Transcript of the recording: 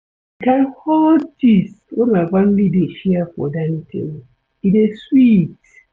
Di kain hot gist wey my family dey share for dining table, e dey sweet.